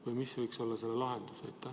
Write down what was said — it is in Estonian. Või mis võiks olla selle lahendus?